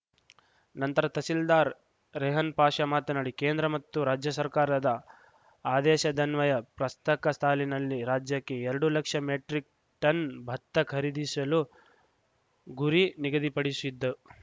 ನಂತರ ತಹಸೀಲ್ದಾರ್‌ ರೆಹನ್‌ ಪಾಷಾ ಮಾತನಾಡಿ ಕೇಂದ್ರ ಮತ್ತು ರಾಜ್ಯ ಸರ್ಕಾರದ ಆದೇಶದನ್ವಯ ಪ್ರಸ್ತಕ ಸಾಲಿನಲ್ಲಿ ರಾಜ್ಯಕ್ಕೆ ಎರಡು ಲಕ್ಷ ಮೆಟ್ರಿಕ್‌ ಟನ್‌ ಭತ್ತ ಖರೀದಿಸಲು ಗುರಿ ನಿಗದಿಪಡಿಶಿದ್ದು